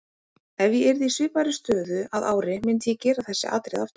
Ef ég yrði í svipaðri stöðu að ári myndi ég gera þessi atriði aftur.